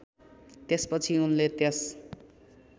त्यसपछि उनले त्यस